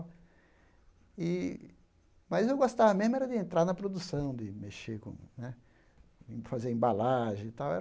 E mas eu gostava mesmo era de entrar na produção, de mexer com né, fazer embalagem e tal era.